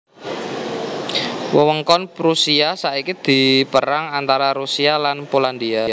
Wewengkon Prusia saiki dipérang antara Rusia lan Polandia